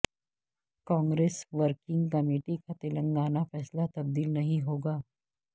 Congress working committee کا تلنگانہ فیصلہ تبدیل نہیں ہوگا